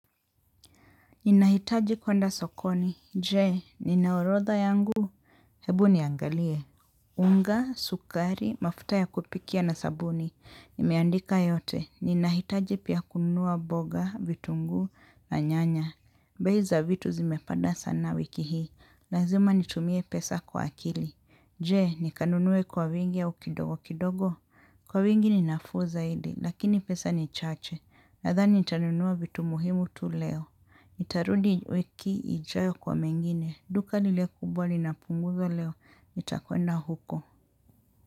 Ninahitaji kwenda sokoni. Jee, nina orodha yangu. Hebu niangalie. Unga, sukari, mafuta ya kupikia na sabuni. Nimeandika yote. Ninahitaji pia kunua boga, vitunguu na nyanya. Bei za vitu zimepada sana wiki hii. Lazima nitumie pesa kwa akili. Jee, nikanunue kwa vingi au kidogo kidogo. Kwa wingi ni nafuu zaidi. Lakini pesa ni chache. Nadhani nitanunua vitu muhimu tu leo. Nitarudi wiki ijayo kwa mengine duka lile kubwa linapunguzwa leo nitakwenda huko.